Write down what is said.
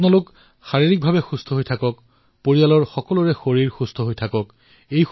আপোনালোক সুস্থ হৈ থাকক আপোনাৰ পৰিয়াল সুস্থ হৈ থাকক